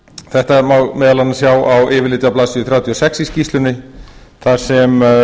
þetta má meðal annars sjá á yfirliti á blaðsíðu þrjátíu og sex í skýrslunni þar sem